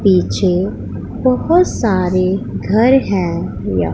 पीछे बहुत सारे घर हैं।